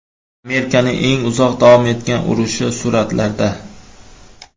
Amerikaning eng uzoq davom etgan urushi suratlarda.